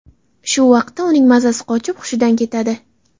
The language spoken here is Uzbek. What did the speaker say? Shu vaqtda uning mazasi qochib hushidan ketadi.